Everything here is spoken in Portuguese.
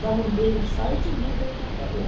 Dar um e-mail, um site, não tendo computador.